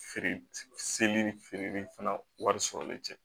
Feere seli ni feereli fana wari sɔrɔli tɛ